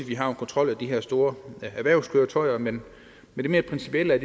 vi har en kontrol af de her store erhvervskøretøjer men det mere principielle er